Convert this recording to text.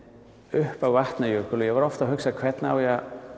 upp á Vatnajökul og ég var oft að hugsa hvernig á ég að